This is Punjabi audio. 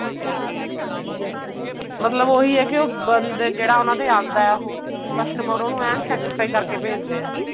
ਮਤਲਬ ਉਹੀ ਹੈ ਕਿ ਬੰਦਾ ਜਿਹੜਾ ਉਹਨਾ ਦੇ ਆਉਂਦਾ ਉਹ customer ਉਹਨੂੰ ਐਨ satisfy ਕਰਕੇ ਭੇਜਦੇ ਨੇ